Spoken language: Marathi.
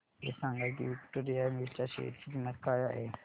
हे सांगा की विक्टोरिया मिल्स च्या शेअर ची किंमत काय आहे